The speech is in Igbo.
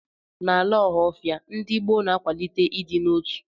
N'ala Ọhafia, ndị ọgbọ na-akwalite ịdị n'otu.